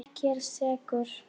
Ég er sekur.